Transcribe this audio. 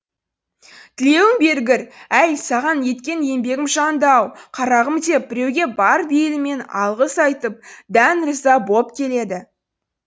тілеуің бергір әй саған еткен еңбегім жанды ау қарағым деп біреуге бар бейілімен алғыс айтып дән риза боп келеді